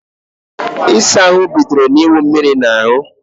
Ịsa ahụ bidoro na iwu mmírí na ahú